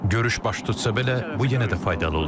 Görüş baş tutsa belə, bu yenə də faydalı olar.